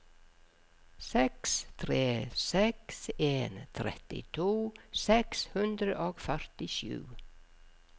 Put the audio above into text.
seks tre seks en trettito seks hundre og førtisju